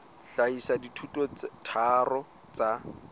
hlahisa dithuto tse tharo tsa